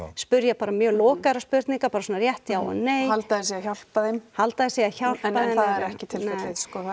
spyrja bara mjög lokaðra spurninga bara rétt já og nei og halda að þeir séu að hjálpa þeim halda að þeir séu að hjálpa þeim en það er ekki tilfellið sko